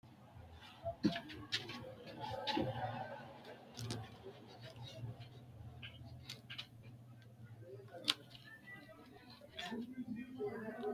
tini beetto angasera amaddinoti timatimete boco ikkanna ma assitanni woy kuni ma xawisano yinummoro timatime albaho riqqiniro woy intiro albu biifadonna ka"ate baxissannoha ikkanno.